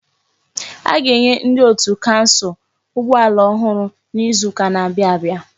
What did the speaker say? A ga-enye ndi otu kansụl ụgbọ ala ọhụrụ n'izuka n'abia abịa.